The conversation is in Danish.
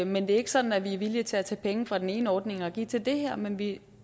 men det er ikke sådan at vi er villige til at tage penge fra den ene ordning og give til det her men vi